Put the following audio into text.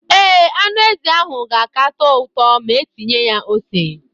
Ee, anụ ezi ahụ ga-aka tọọ ụtọ ma etinye ya ose.